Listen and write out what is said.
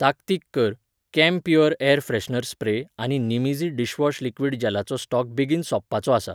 ताकतीक कर, camphor air freshener spray आनी निमईझी डिशवॉश लिक्विड जॅलाचो स्टॉक बेगीन सोंपपाचो आसा.